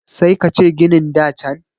sai ka ce ginin da can